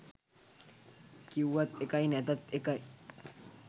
කිව්වත් එකයි නැතත් එකයි.